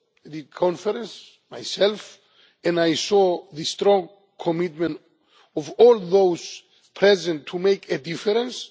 the conference myself and I saw the strong commitment of all those present to make a difference.